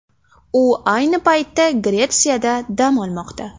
U ayni paytda Gretsiyada dam olmoqda.